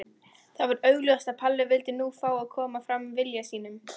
Það var augljóst að Palli vildi nú fá að koma fram vilja sínum.